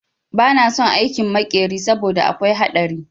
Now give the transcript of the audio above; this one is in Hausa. Ba na son aikin makeri saboda akwai haɗari